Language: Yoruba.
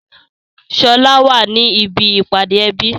Sọlá wá ní ibi ìpàdé ẹbí